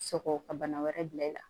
Sɔgɔ ka bana wɛrɛ bila i la